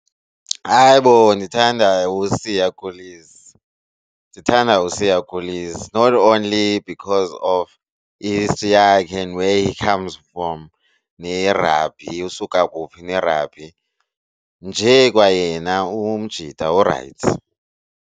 Hayi bo ndithanda uSiya Kolisi, ndithanda uSiya Kolisi not only because of i-history yakhe and where he comes fom nerabhi usuka kuphi nerabhi njee kwayena umgumjita urayithi.